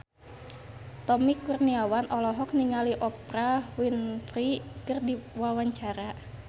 Tommy Kurniawan olohok ningali Oprah Winfrey keur diwawancara